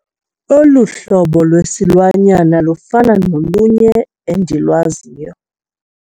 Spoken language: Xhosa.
Olu hlobo lwesilwanyana lufana nolunye endilwaziyo.